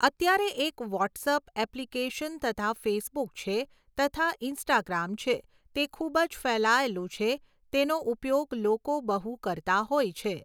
અત્યારે એક WhatsApp application તથા ફેસબૂક છે તથા ઇન્સ્ટાગ્રામ છે તે ખૂબ જ ફેલાયેલું છે તેનો ઉપયોગ લોકો બહુ કરતા હોય છે.